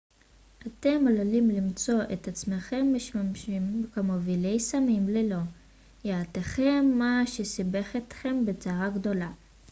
אתם עלולים למצוא את עצמכם משמשים כמובילי סמים ללא ידיעתכם מה שיסבך אתכם בצרה גדולה